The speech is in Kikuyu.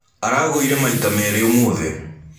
Aragũĩre maita meri ũmũthi.